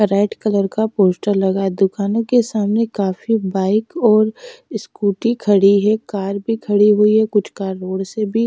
red colour का poster लगा दुकानों के सामने काफी बाइक और स्कूटी खड़ी हैं कार भी खड़ी हुई है कुछ कार रोड से भी--